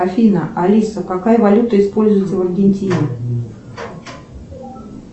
афина алиса какая валюта используется в аргентине